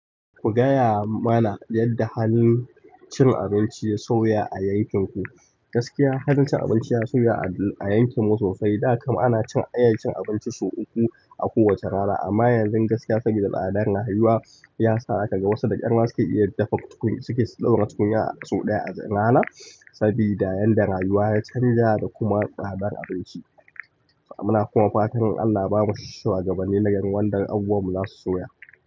Ku gaya mana yadda halin cin abinci ya sauya a yankinku. Gaskiya halin cin abinci ya sauya a yankinmu sosai. Da kam ana cin iya cin abinci sau uku a kowace rana amma yanzu gaskiya saboda tsadar rayuwa ya sa zaaka ga wasu da ƙyar ma suke iya dafa tukunya suke ɗaura tukunyar sau ɗaya a rana saboda yanda rayuwa ya canja da kuma tsadar abinci. Muna kuma fatan Allah ya ba mu shuwagabanni na gari wanda abubuwan mu zasu sauya.